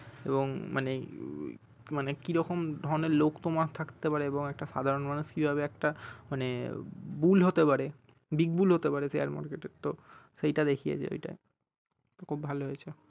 এবং মানে এই মানে কি রকম ধরনের লোক তোমার থাকতে পারে এবং একটা সাধারন মানুষ কিভাবে একটা মানে bull হতে পারে big bull হতে পারে share market এর তো সেইটা দেখিয়েছে এইটা খুব ভালো হয়েছে